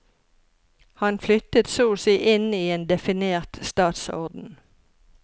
Han flyttet så å si inn i en definert statsorden.